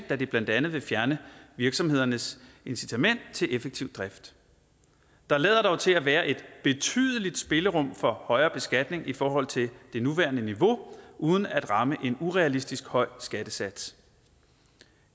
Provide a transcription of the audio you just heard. da det blandt andet vil fjerne virksomhedernes incitament til effektiv drift der lader dog til at være et betydeligt spillerum for højere beskatning i forhold til det nuværende niveau uden at ramme en urealistisk høj skattesats